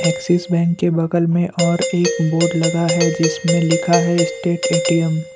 axis Bank के बगल में और एक बोर्ड लगा है जिसमें लिखा है स्टेट ए_टी_एम